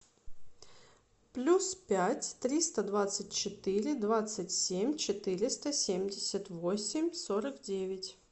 плюс пять триста двадцать четыре двадцать семь четыреста семьдесят восемь сорок девять